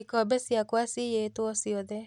Ikombe ciakwa ciyĩtwo ciothe